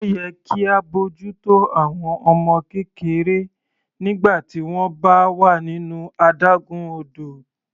Ó yẹ kí á bójú tó àwọn ọmọ kékeré nígbà tí wọ́n bá wà nínú adágún odò.